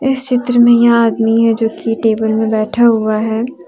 इस चित्र में यह आदमी है जो थ्री टेबल मे बैठा हुआ है।